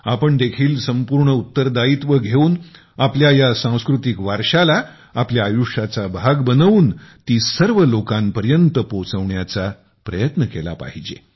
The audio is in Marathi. आपण देखील संपूर्ण उत्तरदायित्व घेऊन आपल्या या सांस्कृतिक वारश्याला आपल्या आयुष्याचा भाग बनवून ती सर्व लोकांपर्यंत पोचवण्याचा प्रयत्न केला पाहिजे